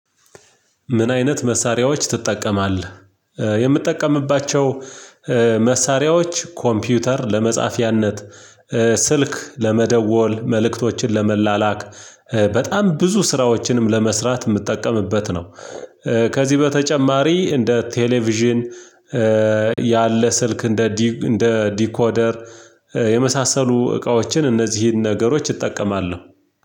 ምን? አይነት መሳሪያዎች ትጠቀማለህ የምትጠቀምባቸው መሳሪያዎች ኮምፒውተር ለመጻፊያነት ስልክ ለመደወል መልእክቶችን ለመላላክ በጣም ብዙ ስራዎችንም ለመስራት የምትጠቀምበት ነው። ከዚህ በተጨማሪ እንደ ቴሌቪዥን። ያለ ስልክ እንደ እንደ ዲኮደር የመሳሰሉ እቃዎችን እነዚህን ነገሮች እጠቀማለሁ።